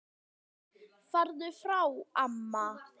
Farðu frá amma!